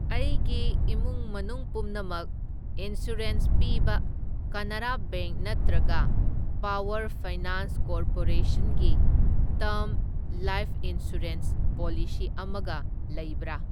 ꯑꯩꯒꯤ ꯏꯃꯨꯡ ꯃꯅꯨꯡ ꯄꯨꯝꯅꯃꯛ ꯏꯟꯁꯨꯔꯦꯟꯁ ꯄꯤꯕ ꯀꯅꯥꯔꯥ ꯕꯦꯡꯛ ꯅꯠꯇ꯭ꯔꯒ ꯄꯥꯋꯔ ꯐꯥꯏꯅꯥꯟꯁ ꯀꯣꯔꯄꯣꯔꯦꯁꯟ ꯒꯤ ꯇꯔꯝ ꯂꯥꯏꯐ ꯏꯟꯁꯨꯔꯦꯟꯁ ꯄꯣꯂꯤꯁꯤ ꯑꯃꯒ ꯂꯩꯕ꯭ꯔꯥ?